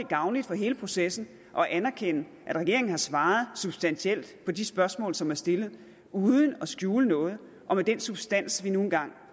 gavnligt for hele processen at anerkende at regeringen har svaret substantielt på de spørgsmål som er stillet uden at skjule noget og med den substans vi nu engang